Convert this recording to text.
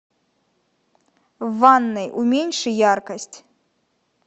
в ванной уменьши яркость